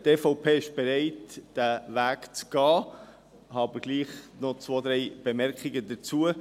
Ich habe aber dennoch zwei, drei Bemerkungen dazu.